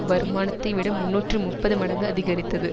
வருமானத்தை விட முன்னூற்று முப்பது மடங்கு அதிகரித்தது